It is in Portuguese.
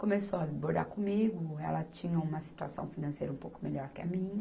Começou a vir bordar comigo, ela tinha uma situação financeira um pouco melhor que a minha.